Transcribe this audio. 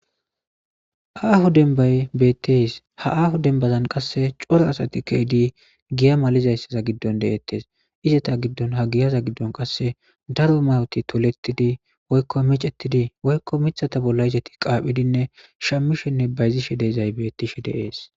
aaho denbay beetties ha aaho dembazan qasse coro asati keedi giya malizayssaza giddon deettes izata giddon ha giyaza giddon qasse daro mawoti tolettidi woykko micettidi woykko mithata bolla izati qaaphidinne shammishenne bayzishe deezay bettishe deees